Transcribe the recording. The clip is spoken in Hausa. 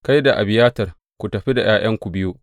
Kai da Abiyatar ku tafi da ’ya’yanku biyu.